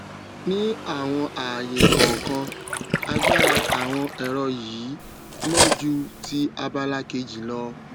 ní àwọn àayè kọọkan agbára àwọn ẹrọ yìí mọ ju ti abala kejì lọ